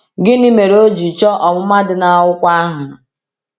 Gịnị mere o ji chọọ ọmụma dị n’akwụkwọ ahụ?